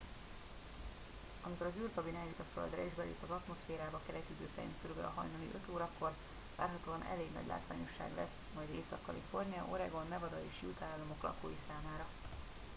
amikor az űrkabin eljut a földre és belép az atmoszférába keleti idő szerint kb. hajnali 5 órakor várhatóan elég nagy látványosság lesz majd észak-kalifornia oregon nevada és utah államok lakói számára